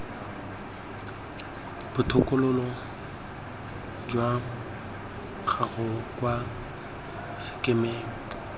botokololo jwa gago kwa sekemeng